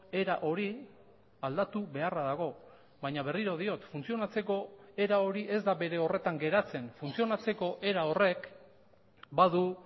era hori aldatu beharra dago baina berriro diot funtzionatzeko era hori ez da bere horretan geratzen funtzionatzeko era horrek badu